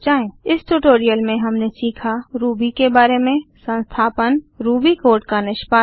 इस ट्यूटोरियल में हमने सीखा रूबी के बारे में संस्थापन रूबी कोड का निष्पादन